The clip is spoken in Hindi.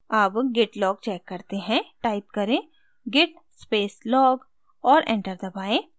अब git log check करते हैं टाइप करें git space log और enter दबाएँ